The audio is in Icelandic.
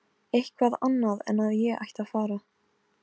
Súlamít, hvernig er veðrið á morgun?